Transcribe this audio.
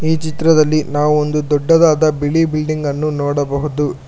ಈ ಚಿತ್ರದಲ್ಲಿ ನಾವೋಂದು ದೊಡ್ಡದಾದ ಬಿಳಿ ಬಿಲ್ಡಿಂಗ್ ಅನ್ನು ನೋಡಬಹುದು.